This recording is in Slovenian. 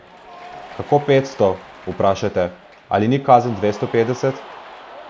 Kako petsto, vprašate, ali ni kazen dvesto petdeset?